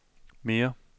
mere